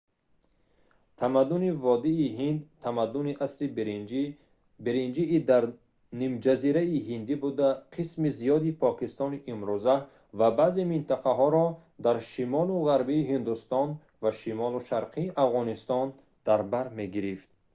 тамаддуни водии ҳинд тамаддуни асри биринҷии дар нимҷазираи ҳиндӣ буда қисми зиёди покистони имрӯза ва баъзе минтақаҳоро дар шимолу ғарбии ҳиндустон ва шимолу шарқи афғонистон дар бар мегирифт